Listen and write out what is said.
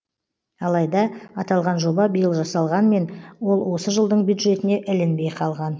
алайда аталған жоба биыл жасалғанмен ол осы жылдың бюджетіне ілінбей қалған